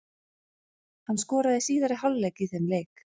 Hann skoraði í síðari hálfleik í þeim leik.